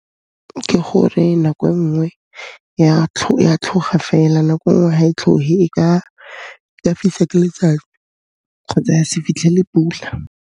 Ke gore nako e nngwe ya tlhoga fela nako e nngwe ha e tlhohe, e ka fisa ke letsatsi kgotsa ya se fitlhele pula.